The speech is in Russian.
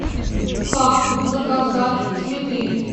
как заказать цветы